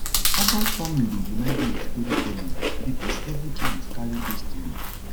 herbal farming dey remind me of storytelling because every plant carry history